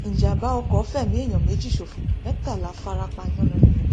ìjàḿbà ọkọ fẹmí èèyàn méjì ṣòfò mẹtàlá fara pa yánnayànna